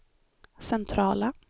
centrala